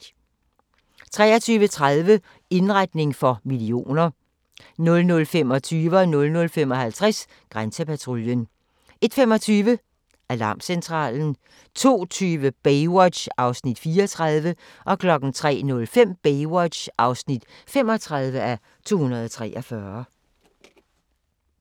23:30: Indretning for millioner 00:25: Grænsepatruljen 00:55: Grænsepatruljen 01:25: Alarmcentralen 02:20: Baywatch (34:243) 03:05: Baywatch (35:243)